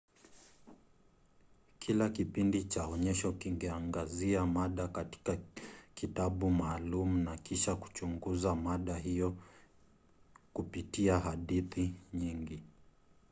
kila kipindi cha onyesho kingeangazia mada katika kitabu maalum na kisha kuchunguza mada hiyo kupitia hadithi nyingi